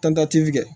Tantɛti kɛ